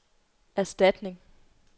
erstatning